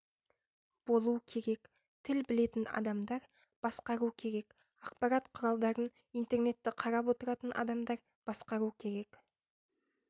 болу керек тіл білетін адамдар басқару керек ақпарат құралдарын интернетті қарап отыратын адамдар басқару керек